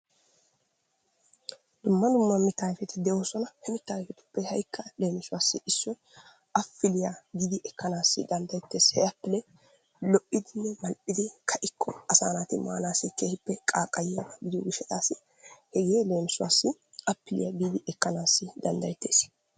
Dumma dumma mittaa ayfeti de'oosona. He ayfetuppe haykka leemisuwassi issoy appiliya giidi ekkanaassi danddayettees. He appile lo"idinne mal'idi ka"ikko asaa naati maanaassi keehippe qaaqayiba gidiyo gishshataassi hegee leemisuwassi appiliya giidi ekkannaassi dandayetes.